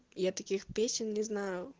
я таких песен не знаю